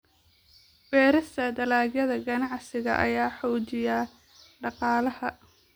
Beerista dalagyada ganacsiga ayaa xoojiya dhaqaalaha.